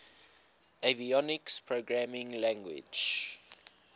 avionics programming language